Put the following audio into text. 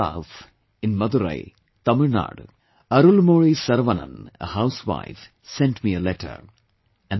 From the far south, in Madurai, Tamil Nadu, Arulmozhi Sarvanan, a housewife, sent me a letter